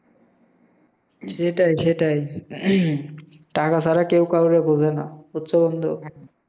সেটাই সেটাই। টাকা ছাড়া কেও কাওরে বোঝে না, বুঝছো বন্ধু?